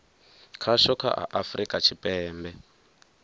khasho kha a afurika tshipembe